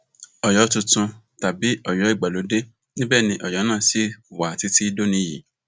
ọyọ tuntun tàbí ọyọ ìgbàlódé níbẹ ni ọyọ náà ṣì wà títí dòní yìí